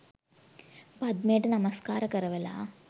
පද්මයට නමස්කාර කරවලා